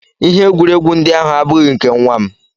Ihe egwuregwu ndị ahụ abụghị nke nwa m